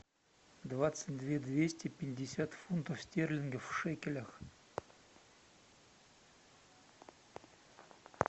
двадцать две двести пятьдесят фунтов стерлингов в шекелях